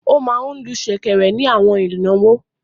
Ó máa ń lu ṣẹ̀kẹ̀rẹ̀ ni àwọn ìnáwó.